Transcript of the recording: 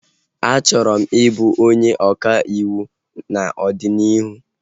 A chọrọ m ị bụ onye ọka ịwụ n'ọdịnihu